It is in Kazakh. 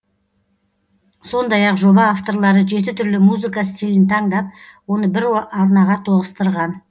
сондай ақ жоба авторлары жеті түрлі музыка стилін таңдап оны бір арнаға тоғыстырған